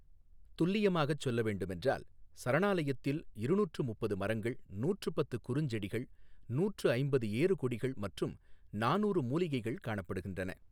துல்லியமாகச் சொல்லவேண்டும் என்றால், சரணாலயத்தில் இருநூற்று முப்பது மரங்கள், நூற்று பத்து குறுஞ்செடிகள், நூற்று ஐம்பது ஏறுகொடிகள் மற்றும் நானூறு மூலிகைகள் காணப்படுகின்றன.